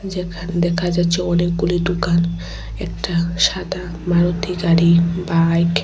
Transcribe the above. যেখানে দেখা যাচ্ছে অনেকগুলি দুকান একটা সাদা মারুতি গাড়ি বাইক ।